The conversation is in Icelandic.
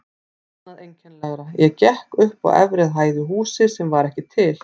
Annað einkennilegra: ég gekk upp á efri hæð í húsi sem var ekki til.